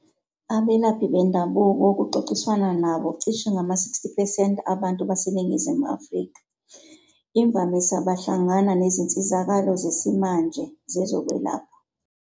Abelaphi bendabuko kuxoxiswana nabo cishe ngama-60 percent abantu baseNingizimu Afrika, imvamisa behlangana nezinsizakalo zesimanje zezokwelapha.